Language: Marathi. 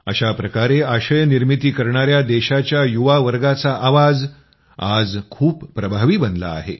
अशा प्रकारे आशय निर्मिती करणाया देशाच्या युवावर्गाचा आवाज आज खूप प्रभावी बनला आहे